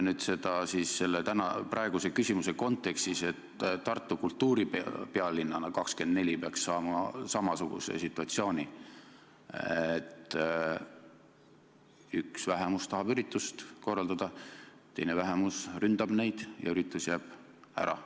Kujutame seda ette praeguse küsimuse kontekstis: kujutame ette, et tekib samasugune situatsioon, et üks vähemus tahab üritust "Tartu – kultuuripealinn 2024" korraldada, teine vähemus ründab neid ja üritus jääb ära.